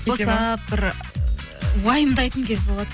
босап бір ы уайымдайтын кез болады